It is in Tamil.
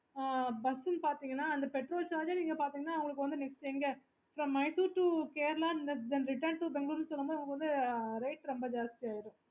ஆஹ் bus பாத்தீங்கன்னா அந்த petrol charge நீங்க பாத்தீங்கன்னா Mysore to Kerala return to Bangalore சொல்லும்பொது அங்க rate வந்து ரொம்ப ஜாஸ்தி ஆயிடும்